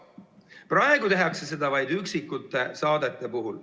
Praegu tehakse seda vaid üksikute saadete puhul.